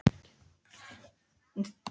Eyveig, hvað er í dagatalinu mínu í dag?